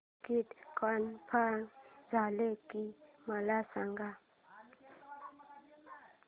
ticket confirm झाले की मला सांग